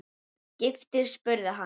Giftur? spurði hann.